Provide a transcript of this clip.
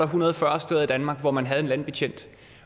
hundrede og fyrre steder i danmark hvor man havde en landbetjent